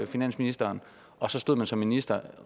finansministeren og så stod man som minister